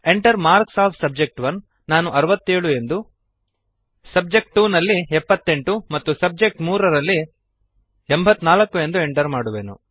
Enter marks of subject one ನಾನು 67 ಎಂದು subject two ರಲ್ಲಿ 78 ಮತ್ತು ಸಬ್ಜೆಕ್ಟ್3 ರಲ್ಲಿ 84 ಎಂದು ಎಂಟರ್ ಮಾಡುವೆನು